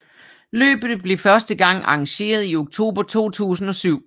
Løbet blev første gang arrangeret i oktober 2007